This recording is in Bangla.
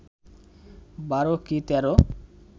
বারো কি তেরো